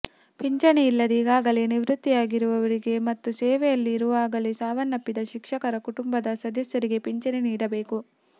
ಪಿಂಚಣಿ ಇಲ್ಲದೆ ಈಗಾಗಲೇ ನಿವೃತ್ತಿಯಾಗಿರುವವರಿಗೆ ಮತ್ತು ಸೇವೆಯಲ್ಲಿ ಇರುವಾಗಲೇ ಸಾವನ್ನಪ್ಪಿದ ಶಿಕ್ಷಕರ ಕುಟುಂಬದ ಸದಸ್ಯರಿಗೆ ಪಿಂಚಣಿ ನೀಡಬೇಕು